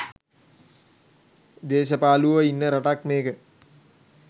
දේශපාලුවෝ ඉන්න රටක් මේක